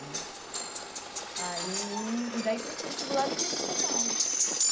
Né aí e Daí, prestei vestibular e vim para São Paulo.